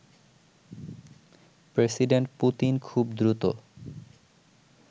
president Putin খুব দ্রুত